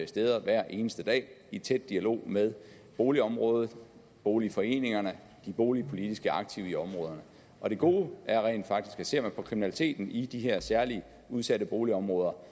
steder hver eneste dag i tæt dialog med boligområderne boligforeningerne og de boligpolitiske aktive i områderne og det gode er rent faktisk at ser på kriminaliteten i de her særligt udsatte boligområder